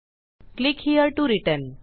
click here to return